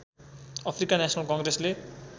Africa national कङ्ग्रेसले